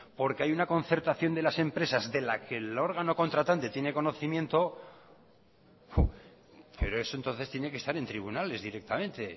porque hay una concertación de las empresas de las que el órgano contratante tiene conocimiento pero eso entonces tiene que estar en tribunales directamente